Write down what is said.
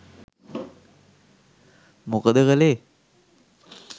මොකද කළේ?